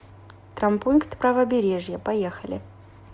травмпункт правобережья поехали